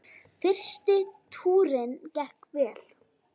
Fyrsti túrinn gekk vel.